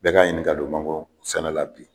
Bɛɛ k'a ɲini ka don mangoro sɛnɛ la.